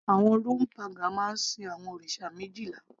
àwọn Roman pagan máa ń sin àwọn òrìṣà méjìlá